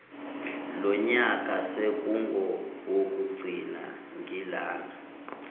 lonyaka sekungowokugcina ngilana